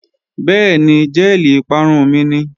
Bẹ́ẹ̀ni, jẹ́ẹ̀lì ìparun mi ni